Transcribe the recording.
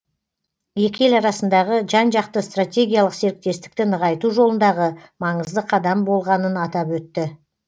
екі ел арасындағы жан жақты стратегиялық серіктестікті нығайту жолындағы маңызды қадам болғанын атап өтті